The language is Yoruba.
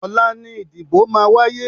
Ọ̀la ni ìdìbò máa wáyé.